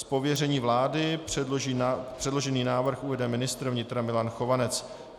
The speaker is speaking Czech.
Z pověření vlády předložený návrh uvede ministr vnitra Milan Chovanec.